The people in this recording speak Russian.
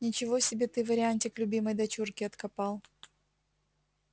ничего себе ты вариантик любимой дочурке откопал